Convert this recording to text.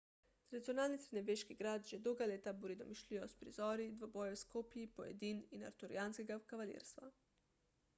tradicionalni srednjeveški grad že dolga leta buri domišljijo s prizori dvobojev s kopji pojedin in arturijanskega kavalirstva